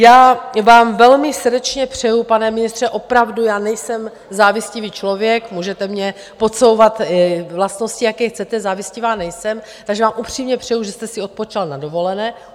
Já vám velmi srdečně přeju, pane ministře, opravdu, já nejsem závistivý člověk, můžete mně podsouvat vlastnosti, jaké chcete, závistivá nejsem, takže vám upřímně přeju, že jste si odpočinul na dovolené.